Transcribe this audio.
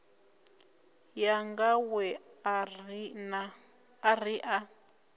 yanga we a ri a